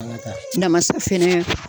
Namasa fɛnɛ